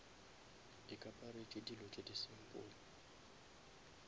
ikaparetše dilo tše di simple